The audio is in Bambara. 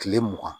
Kile mugan